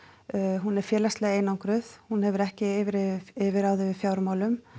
hún er félagslega einangruð hún hefur ekki yfirráð yfir yfirráð yfir fjármálum